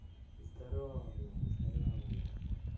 здорово блядь здорово нахуй